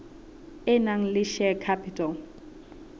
e nang le share capital